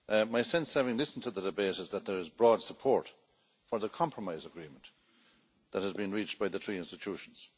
My sense, having listened to the debate, is that there is broad support for the compromise agreement that has been reached by the three institutions.